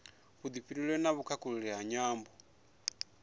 vhufhinduleli na vhukhakhulili nga nyambo